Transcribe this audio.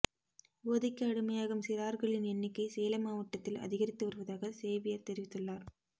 போதைக்கு அடிமையாகும் சிறார்களின் எண்ணிக்கை சேலம் மாவட்டத்தில் அதிகரித்து வருவதாக சேவியர் தெரிவித்துள்ளார்